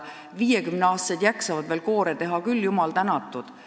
50-aastased jaksavad veel koore teha küll, jumal tänatud.